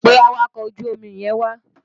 Pe awakọ̀ ojú omi yẹn wá!